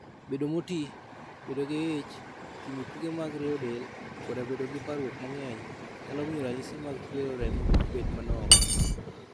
Bedo moti, bedo gi ich, timo tuke mag rieyo del, koda bedo gi parruok mang'eny, nyalo miyo ranyisi mag chwero remo obed manok.